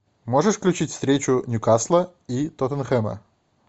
можешь включить встречу ньюкасла и тоттенхэма